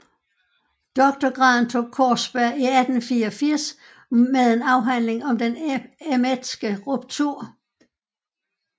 Doktorgraden tog Kaarsberg 1884 med en afhandling Om den Emmetske Ruptur